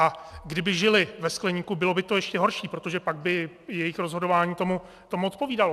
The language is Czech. A kdyby žili ve skleníku, bylo by to ještě horší, protože pak by jejich rozhodování tomu odpovídalo.